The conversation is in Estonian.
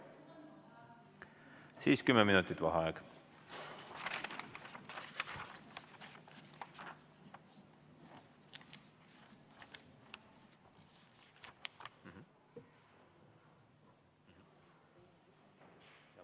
Siis on 10 minutit vaheaega.